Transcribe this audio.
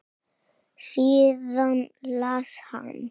Síðan las hann